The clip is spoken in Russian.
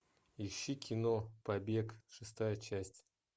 ищи кино побег шестая часть